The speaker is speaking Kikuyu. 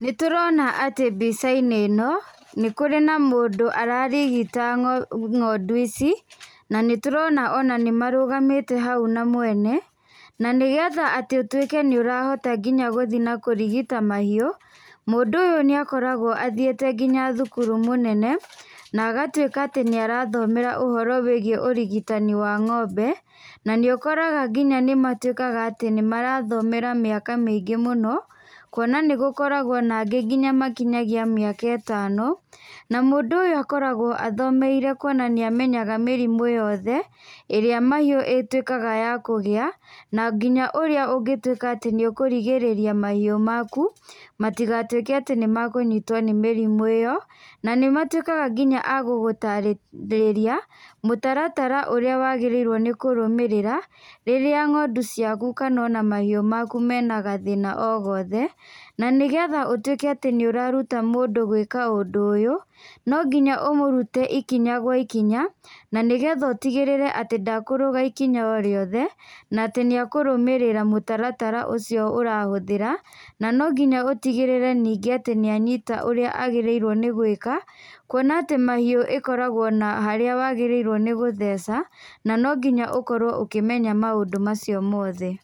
Nĩtũrona atĩ mbica-inĩ ĩno nĩ kũrĩ na mũndũ ararigita ng'ondu ici, na nĩ tũrona atĩ nĩ marũgamĩte hau na mwene. Na nĩgetha atĩ ũtuĩke atĩ nĩ ũrahota nginya gũthi na kũrigita mahiũ, mũndũ ũyũ nĩ akoragwo athiĩte nginya thukuru mũnene na agatuĩka atĩ nĩ arathomera ũhoro wĩgiĩ ũrigitani wa ng'ombe, na nĩ ũkoraga nginya nĩ matuĩkaga atĩ nĩ marathomera mĩaka mĩingĩ mũno, kuona nĩ gũkoragwo na angĩ nginya makinyagia mĩaka ĩtano. Na mũndũ ũyũ akoragwo athomeire kuona nĩ amenyaga mĩrimũ yothe, ĩrĩa mahiũ ĩtuĩkaga ya kũgĩa, na nginya ũrĩa ũngĩtuĩka atĩ nĩ ũkũrigĩrĩria mahiũ maku matigatuĩke atĩ nĩ makũnyitwo nĩ mĩrimũ ĩyo. Na nĩmatuĩkaga nginya a gũgũtarĩria, mũtaratara ũrĩa wagĩrĩirwo nĩ kũrũmĩrĩra rĩrĩa ng'ondu ciaku kana ona mahiũ maku mena gathĩna ogothe. Na nĩgetha ũtuĩke atĩ nĩ ũraruta mũndũ gũĩka ũndũ ũyũ, no nginya ũmũrute ikinya gwa ikinya, na nĩgetha ũtigĩrĩre atĩ ndakũrũga ikinya orĩothe, na atĩ nĩ ekũrũmĩrĩra mũtaratara ũcio ũrahũthĩra, na no nginya ũtigĩrĩre ningĩ atĩ nĩ anyita ũrĩa agĩrĩire nĩ gũĩka. Kuona atĩ mahiũ ĩkoragwo na harĩa wagĩrĩirwo nĩ gũtheca, na no nginya ũkorwo ũkĩmenya maũndũ macio mothe.